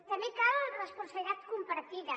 també cal responsabilitat compartida